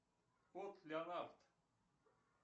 кот леонард